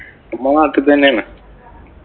നമ്മടെ നാട്ടില്‍ തന്നെയാണ്.